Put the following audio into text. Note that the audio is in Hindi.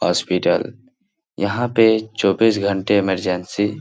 हॉस्पिटल यहाँ पे चौबीस घण्टे इमरजेंसी --